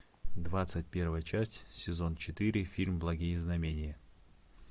двадцать первая часть сезон четыре фильм благие знамения